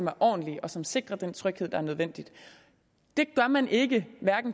er ordentlige og som sikrer den tryghed der er nødvendig det gør man ikke